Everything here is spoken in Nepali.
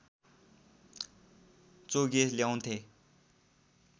चोगे ल्याउँथे